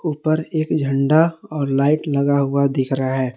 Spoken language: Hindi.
उपर एक झंडा और लाइट लगा हुआ दिख रहा है।